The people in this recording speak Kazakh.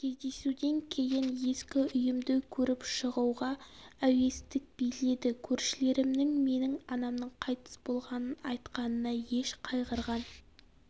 кездесуден кейін ескі үйімді көріп шығуға әуестік биледі көршілерімнің менің анамның қайтыс болғанын айтқанына еш қайғырған